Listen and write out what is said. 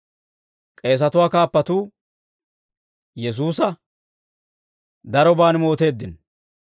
K'eesatuwaa kaappatuu Yesuusa daroban mooteeddino.